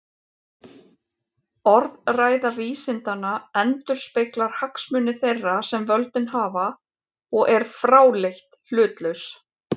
Orðræða vísindanna endurspeglar hagsmuni þeirra sem völdin hafa og er fráleitt hlutlaus.